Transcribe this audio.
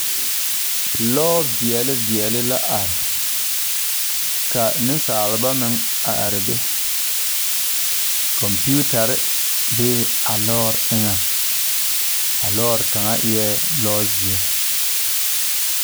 Lɔ veɛle veɛle la are ka neŋsalba meŋ a are be kɔmpiutarre bee a lɔɔre eŋɛŋ a lɔɔre kaŋa eɛɛ zɔzeɛ.